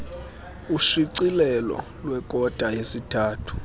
ushicilelo lwekota yesithathu